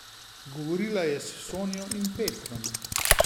Govorila je s Sonjo in Petrom.